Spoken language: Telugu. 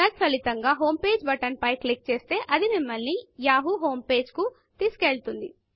తత్ఫలితముగా homepageహోం పేజిబటన్ పై క్లిక్ చేస్తే అది మిమ్మల్ని యాహూ homepageయాహూ హోం పేజి కు తీసుకువెళుతుంది